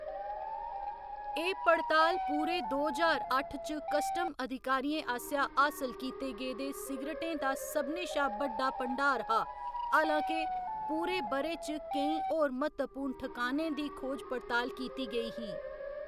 एह्‌‌ पड़ताल पूरे दो ज्हार अट्ठ च कस्टम अधिकारियें आसेआ हासल कीते गेदे सिगरटें दा सभनें शा बड्डा भंडार हा, हालां के पूरे ब'रे च केईं होर म्हत्तवपूर्ण ठकानें दी खोज पड़ताल कीती गेई ही।